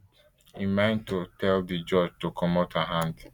im mind to tell di judge to comot her hand